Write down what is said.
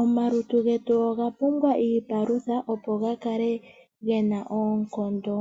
Omaluntu getu oga pumbwa iipalutha opo gakale gena oonkondo